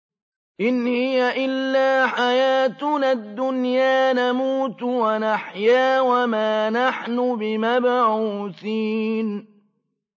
إِنْ هِيَ إِلَّا حَيَاتُنَا الدُّنْيَا نَمُوتُ وَنَحْيَا وَمَا نَحْنُ بِمَبْعُوثِينَ